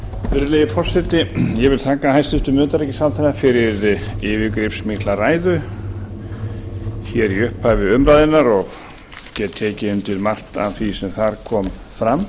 virðulegi forseti ég vil þakka hæstvirtum utanríkisráðherra fyrir yfirgripsmikla ræðu í upphafi umræðunnar og get ekki undir margt af því sem þar kom fram